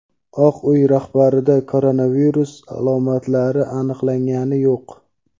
Oq uy rahbarida koronavirus alomatlari aniqlangani yo‘q.